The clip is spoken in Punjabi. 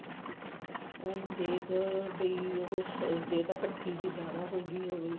ਉਹਨੂੰ ਦੇਖ ਵੀ ਉਹ ਜੇ ਤਾਂ ਕੱਠੀ ਜੀ ਜਿਆਦਾ ਹੋਗੀ